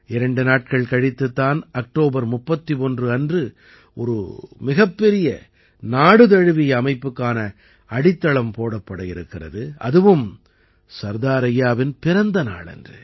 இரண்டு நாட்கள் கழித்துத் தான் அக்டோபர் 31 அன்று ஒரு மிகப்பெரிய நாடு தழுவிய அமைப்புக்கான அடித்தளம் போடப்பட இருக்கிறது அதுவும் சர்தார் ஐயாவின் பிறந்த நாளன்று